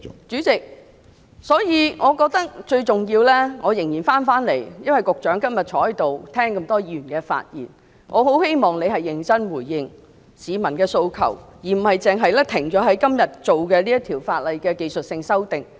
主席，所以我認為最重要的是......我返回辯論議題，因為局長今天在席，聆聽過這麼多位議員的發言，我很希望局長可認真地回應市民的訴求，而不單是止步於今天這項《條例草案》的技術修訂。